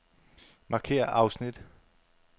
Markér afsnit.